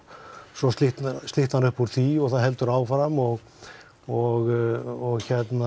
svo slitnar slitnar upp úr því og það heldur áfram og og